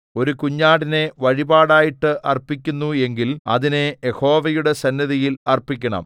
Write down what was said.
ഒരു കുഞ്ഞാടിനെ വഴിപാടായിട്ട് അർപ്പിക്കുന്നു എങ്കിൽ അതിനെ യഹോവയുടെ സന്നിധിയിൽ അർപ്പിക്കണം